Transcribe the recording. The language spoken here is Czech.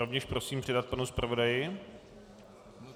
Rovněž prosím předat panu zpravodaji.